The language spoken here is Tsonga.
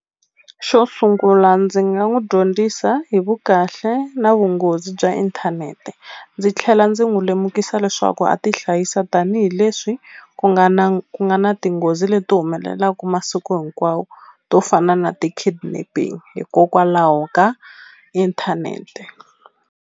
Xo sungula ndzi nga n'wi dyondzisa hi vukahle na vunghozi bya inthanete ndzi tlhela ndzi n'wi lemukisa leswaku a ti hlayisa tanihileswi ku nga na ku nga na tinghozi leti humelelaku masiku hinkwawo to fana na ti kidnapping hikokwalaho ka inthanete.